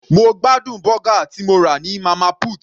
Mo gbádùn bọ́gà tí mo rà ní Mama put.